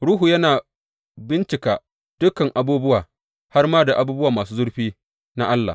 Ruhu yana bincika dukan abubuwa, har ma da abubuwa masu zurfi na Allah.